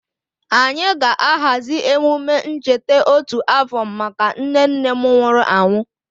Anyị ga-ahazi emume ncheta otu afọ maka nne nne m nwụrụ anwụ.